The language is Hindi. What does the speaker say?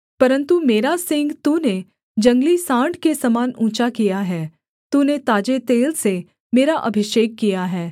परन्तु मेरा सींग तूने जंगली साँड़ के समान ऊँचा किया है तूने ताजे तेल से मेरा अभिषेक किया है